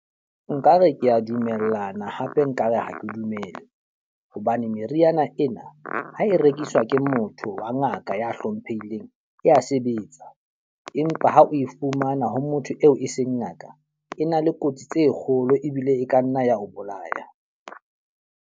Nkare ke a dumellana hape nkare ha ke dumele. Hobane meriana ena ha e rekiswa ke motho wa ngaka ya hlomphehileng, e ya sebetsa. Empa ha o e fumana ho motho eo e seng ngaka, e na le kotsi tse kgolo ebile e ka nna ya ho bolaya.